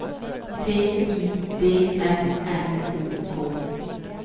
T I D S N O K